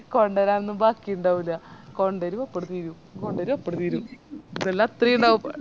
കൊണ്ടേരനൊന്നും ബാക്കിയുണ്ടാവൂല കൊണ്ടേരും അപ്പാട് തീരും കൊണ്ടേരും അപ്പാട് തീരും ഇതെല്ലാം അത്രേ ഇണ്ടാവു